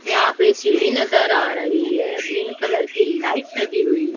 यहां पर सीडी नजर आ रही है। ग्रीन कलर की लाइट लगी हुई--